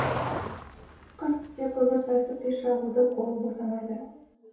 қыс түссе көмір тасып пеш жағудан қолы босамайды